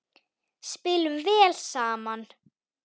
Spilum vel saman.